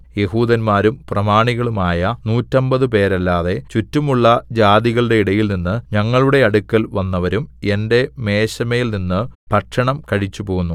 യെഹൂദന്മാരും പ്രമാണികളുമായ നൂറ്റമ്പതുപേരല്ലാതെ ചുറ്റുമുള്ള ജാതികളുടെ ഇടയിൽനിന്ന് ഞങ്ങളുടെ അടുക്കൽ വന്നവരും എന്റെ മേശമേൽ നിന്ന് ഭക്ഷണം കഴിച്ചുപോന്നു